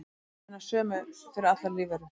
þær eru hinar sömu fyrir allar lífverur